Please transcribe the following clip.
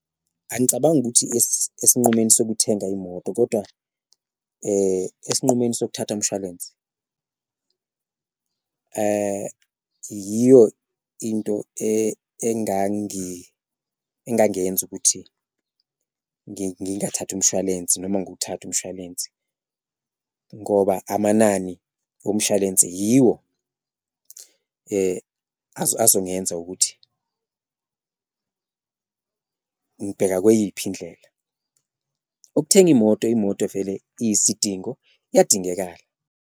Angicabangi ukuthi esinqumweni sokuthenga imoto kodwa esinqumweni sokuthatha mshwalensi yiyo into engangenza ukuthi ngingathathi umushwalensi noma nguwuthathe umshwalensi, ngoba amanani omshalense yiwo azongenza ukuthi ngibheka kweyiphi indlela. Ukuthenga imoto, imoto vele iyisidingo iyadingekala.